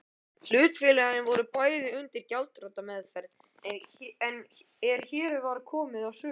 Hlutafélögin voru bæði undir gjaldþrotameðferð er hér var komið sögu.